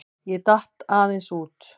Ég datt aðeins út.